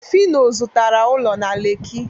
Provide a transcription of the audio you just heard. phyno zụtara ụlọ na lekki